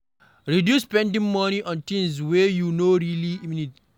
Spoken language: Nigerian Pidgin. Reduce spending money on things wey you no really need